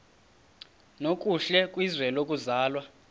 nokuhle kwizwe lokuzalwa